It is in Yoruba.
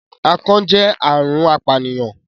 akàn jẹ àrùn apànìyàn